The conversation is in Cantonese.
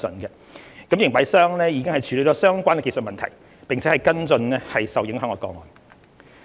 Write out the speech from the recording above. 營辦商已處理相關技術問題，並跟進受影響個案。